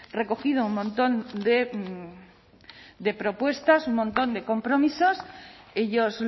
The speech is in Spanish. recogido un montón de propuestas un montón de compromisos ellos